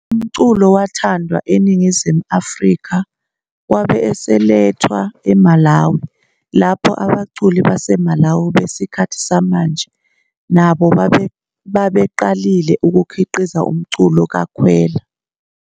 Umculo wathandwa eNingizimu Afrika wabe eselethwa eMalawi, lapho abaculi baseMalawi besikhathi samanje nabo sebeqalile ukukhiqiza umculo kaKhwela.